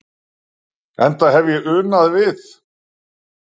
Enda hef ég unað við